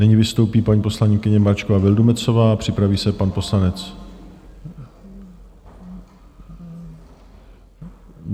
Nyní vystoupí paní poslankyně Mračková Vildumetzová, připraví se pan poslanec...